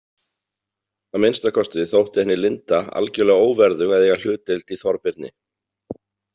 Að minnsta kosti þótti henni Linda algjörlega óverðug að eiga hlutdeild í Þorbirni.